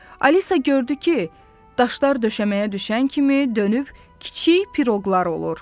Alisa gördü ki, daşlar döşəməyə düşən kimi dönüb kiçik piroqlar olur.